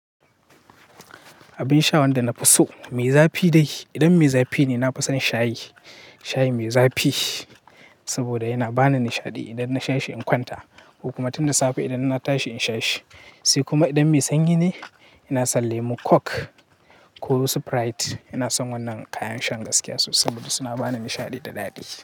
Abin sha wanda na fi so, me zafi dai idan me zafi ne, na fi son shayi. Shayi me zafi saboda yana bani nishaɗi idan na sha shi in kwanta ko kuma tun da safe idan na tashi in sha shi. Sai kuma idan me sanyi ne, ina son lemon kok ko sprite. Ina son wannan kayan shan gaskiya saboda suna bani nishaɗi da daɗi.